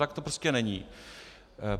Tak to prostě není.